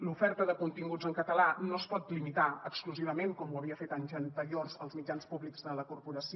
l’oferta de continguts en català no es pot limitar exclusivament com ho havia fet anys anteriors als mitjans públics de la corporació